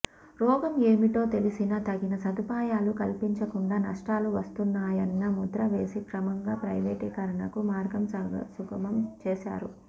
రోగం ఏమిటో తెలిసినా తగిన సదుపాయాలు కల్పించకుండా నష్టాలు వస్తున్నాయన్న ముద్ర వేసి క్రమంగా ప్రైవేటీకరణకు మార్గం సుగమం చేశారు